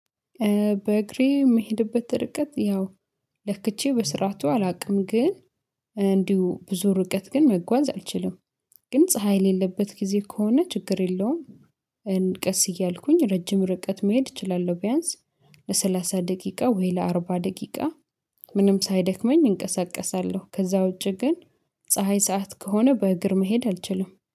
በእግሬ የምሄድበት ርቀት ያው ለክቼ በስራቱ አላውቅም ግን እንዲሁ ብዙ ርቀት ግን መጓዝ አልችልም። ግን ፀሀይ የሌለበት ጊዜ ከሆነ ችግር የለውም። እንቀስ እያልኩኝ ረጅም ርቀት መሄድ እችላለሁ። ቢያንስ ለሰላሳ ደቂቃ ወይ ለአርባ ደቂቃ ምንም ሳይደክመኝ እንቀሳቀሳለሁ። ከዛ ውጪ ግን ፀሀይ ሰዓት ከሆነ በእግር መሄድ አልችልም